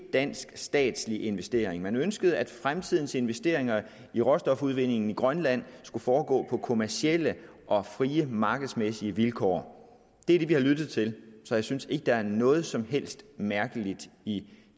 dansk statslig investering men ønskede at fremtidens investeringer i råstofudvindingen i grønland skulle foregå på kommercielle og frie markedsmæssige vilkår det er det vi har lyttet til så jeg synes ikke der er noget som helst mærkeligt i